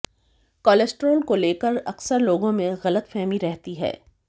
cholesterol को लेकर अक्सर लोगों में गलतफहमी रहती है